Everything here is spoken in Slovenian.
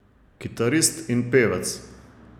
Kitarist in pevec.